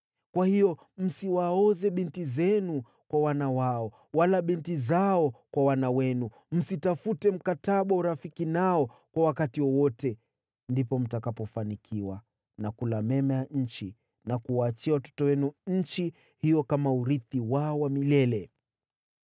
Kwa hiyo, msiwaoze binti zenu kwa wana wao wala binti zao kwa wana wenu. Msitafute mkataba wa urafiki nao kwa wakati wowote. Ndipo mtakapofanikiwa na kula mema ya nchi na kuwaachia watoto wenu nchi hiyo kama urithi wao wa milele.’